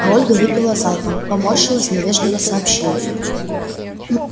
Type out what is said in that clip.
а ольга выпила залпом поморщилась но вежливо сообщила